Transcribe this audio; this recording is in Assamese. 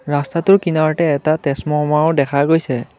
ৰাস্তাটোৰ কিনাৰতে এটা তেজমমাৰো দেখা গৈছে।